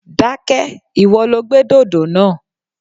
Dákẹ́! Ìwọ lo gbé dòdò náà.